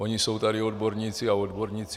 Oni jsou tady odborníci a odborníci.